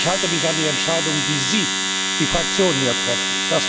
Ich halte mich an die Entscheidungen, die Sie die Fraktionen hier treffen.